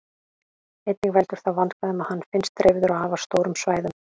Einnig veldur það vandkvæðum að hann finnst dreifður á afar stórum svæðum.